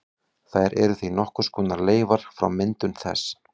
Þær eru því nokkurs konar leifar frá myndun þess.